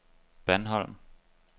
Bandholm